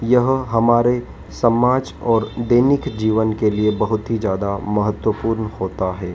यहां हमारे समाज और दैनिक जीवन के लिए बहुत ही ज्यादा महत्वपूर्ण होता हैं।